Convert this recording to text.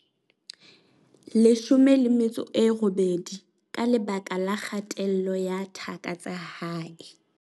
18 ka lebaka la kgatello ya thaka tsa hae.